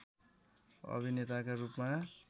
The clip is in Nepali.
अभिनेताका रूपमा